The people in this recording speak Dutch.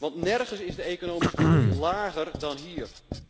Want nergens is de economische groei lager dan hier.